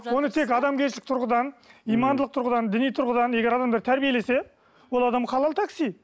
оны тек адамгершілік тұрғыдан имандылық тұрғыдан діни тұрғыдан егер адамды тәрбиелесе ол адам халал такси